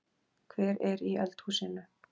Hver er í eldhúsinu?